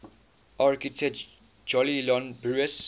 architect jolyon brewis